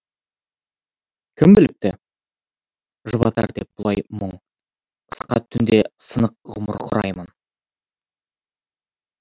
кім біліпті жұбатар деп бұлай мұң сырқат түнде сынық ғұмыр құраймын